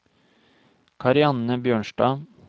Karianne Bjørnstad